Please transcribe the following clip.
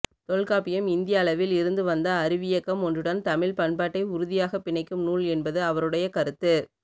தொல்காப்பியம் இந்திய அளவில் இருந்து வந்த அறிவியக்கம் ஒன்றுடன் தமிழ்ப்பண்பாட்டை உறுதியாகப் பிணைக்கும் நூல் என்பது அவருடைய கருத்து